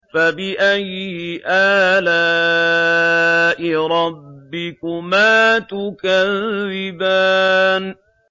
فَبِأَيِّ آلَاءِ رَبِّكُمَا تُكَذِّبَانِ